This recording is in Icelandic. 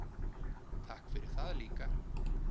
Takk fyrir það líka.